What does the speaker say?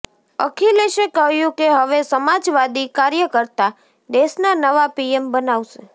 અખિલેશે કહ્યું કે હવે સમાજવાદી કાર્યકર્તા દેશના નવા પીએમ બનાવશે